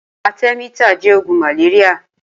Atẹ̀mítà jẹ̀ ógùn màlériá